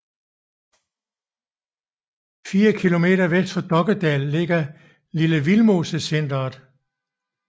Fire kilometer vest for Dokkedal ligger Lille Vildmosecentret